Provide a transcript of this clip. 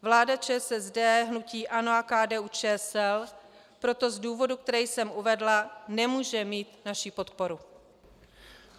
Vláda ČSSD, hnutí ANO a KDU-ČSL proto z důvodů, které jsem uvedla, nemůže mít naši podporu.